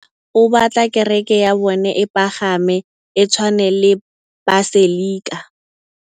Mopapa o batla kereke ya bone e pagame, e tshwane le paselika.